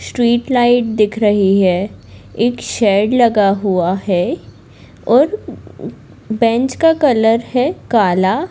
Street light दिख रही है एक शेड लगा हुआ है और उ बेंच का कलर है काला।